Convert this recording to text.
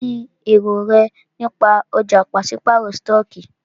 Kínní èrò rẹ nípa ọ̀já pàṣípàrọ̀ stọọkí?